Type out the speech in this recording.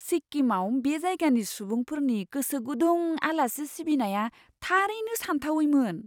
सिक्किमाव बे जायगानि सुबुंफोरनि गोसो गुदुं आलासि सिबिनाया थारैनो सानथावैमोन!